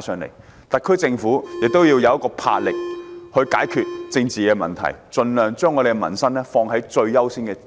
申請，而特區政府亦須展示魄力，切實解決政治問題，盡量把民生放在最優先位置。